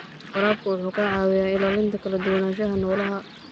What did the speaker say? Waraabku waxa uu caawiyaa ilaalinta kala duwanaanshaha noolaha.